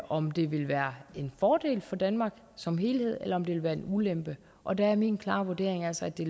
om det ville være en fordel for danmark som helhed eller om det ville være en ulempe og der er min klare vurdering altså at det